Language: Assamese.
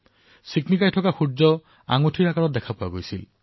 সূৰ্যটোক চমকি উঠা আঙুঠিৰ আকাৰত দেখিবলৈ পোৱা গৈছিল